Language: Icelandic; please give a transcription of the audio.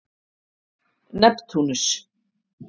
Neptúnus